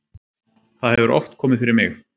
það hefur oft komið fyrir mig.